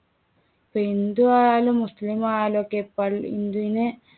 ഇപ്പോ ഹിന്ദുവായാലും മുസ്ലിമായാലും ഒക്കെ പള്ളി ഹിന്ദുവിന്